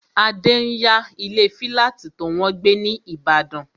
Adé n yá ilé fílátì tó wọ́n gbé ní ìbàdàn